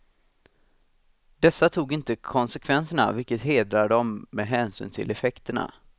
Dessa tog inte konsekvenserna, vilket hedrar dem med hänsyn till effekterna.